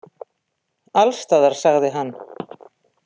Alls staðar, sagði hann.